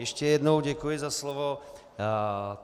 Ještě jednou děkuji za slovo.